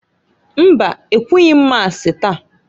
Mba! Ekwughi m Masi taa.